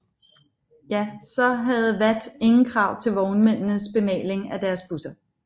Ja så havde VAT ingen krav til vognmændenes bemaling af deres busser